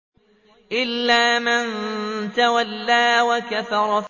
إِلَّا مَن تَوَلَّىٰ وَكَفَرَ